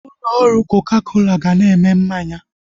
Ụlọ ọrụ koka kola ga na-eme mmanya